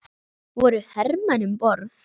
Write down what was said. Voru hermenn um borð?